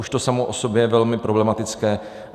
Už to samo o sobě je velmi problematické.